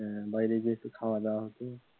হ্যাঁ বাইরে গিয়ে একটু খাওয়া দাওয়া হত,